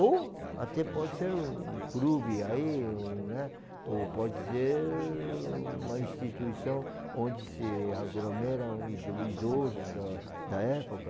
Ou até pode ser um clube aí, um né? Ou pode ser uma instituição onde se aglomeram ido idosos da da época.